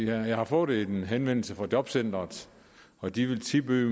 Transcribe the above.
jeg har fået en henvendelse fra jobcenteret og de vil tilbyde